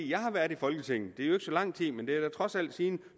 jeg har været i folketinget det er jo ikke så lang tid men det er da trods alt siden